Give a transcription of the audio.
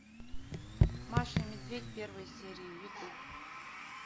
маша и медведь первые серии ютуб